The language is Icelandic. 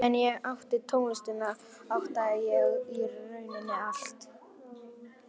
Meðan ég átti tónlistina átti ég í rauninni allt.